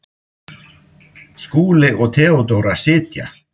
Skúli og Theodóra sitja.